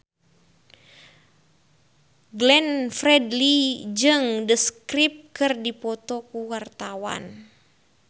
Glenn Fredly jeung The Script keur dipoto ku wartawan